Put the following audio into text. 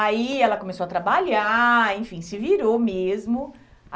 Aí, ela começou a trabalhar, enfim, se virou mesmo.